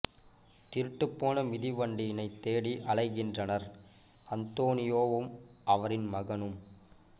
திருட்டுப் போன மிதிவண்டியினைத் தேடி அலைகின்றனர் அந்தோனியோவும் அவரின் மகனும்